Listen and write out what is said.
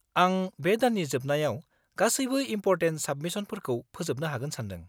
आं बे दाननि जोबनायाव गासैबो इम्पर्टेन्ट साबमिसनफोरखौ फोजोबनो हागोन सानदों।